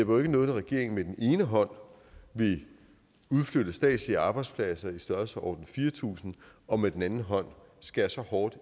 noget når regeringen med den ene hånd vil udflytte statslige arbejdspladser i størrelsesordenen fire tusind og med den anden hånd skærer så hårdt